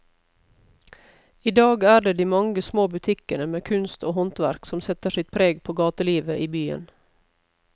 I dag er det de mange små butikkene med kunst og håndverk som setter sitt preg på gatelivet i byen.